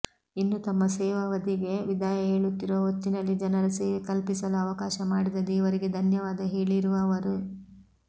ಇನ್ನು ತಮ್ಮ ಸೇವಾವಧಿಗೆ ವಿದಾಯ ಹೇಳುತ್ತಿರುವ ಹೊತ್ತಿನಲ್ಲಿ ಜನರ ಸೇವೆ ಕಲ್ಪಿಸಲು ಅವಕಾಶ ಮಾಡಿದ ದೇವರಿಗೆ ಧನ್ಯವಾದ ಹೇಳಿರುವ ಅವರು